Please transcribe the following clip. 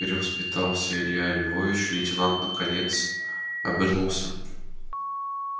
перевоспитался илья львович лейтенант наконец обернулся